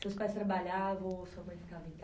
Seus pais trabalhavam ou sua mãe ficava em ca